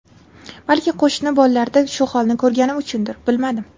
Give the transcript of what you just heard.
Balki, qo‘shni bolalarda shu holni ko‘rganim uchundir, bilmadim.